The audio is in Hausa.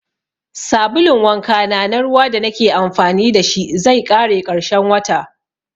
Sabulun wanka na ruwa da nake amfani da shi zai ƙare ƙarshen wata